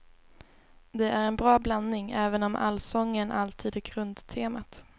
Det är en bra blandning, även om allsången alltid är grundtemat.